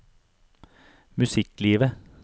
musikklivet